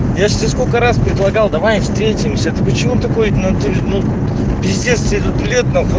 я же тебе сколько раз предлагал давай встретимся ты почему такой в натуре ну пиздец тебе сколько лет нахуй